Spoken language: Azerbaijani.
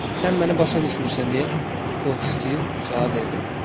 Sən məni başa düşmürsən deyə Bukovski cavab verdi.